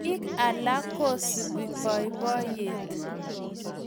piik alak ko subi boiboiyet